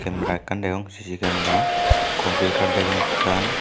camara ekkan degong C_C camara computer degong ekkan.